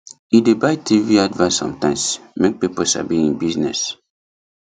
e dey buy tv advert sometimes make people sabi hin business